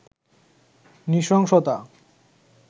নৃশংসতা